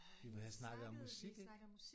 Vi havde snakket om musik ik?